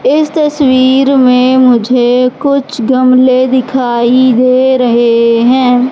इस तस्वीर में मुझे कुछ गमले दिखाई दे रहे हैं।